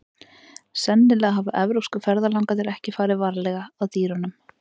Sennilega hafa evrópsku ferðalangarnir ekki farið varlega að dýrunum.